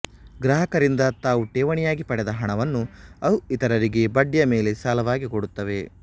ಗ್ರಾಹಕರಿಂದ ತಾವು ಠೇವಣಿಯಾಗಿ ಪಡೆದ ಹಣವನ್ನು ಅವು ಇತರರಿಗೆ ಬಡ್ಡಿಯ ಮೇಲೆ ಸಾಲವಾಗಿ ಕೊಡುತ್ತವೆ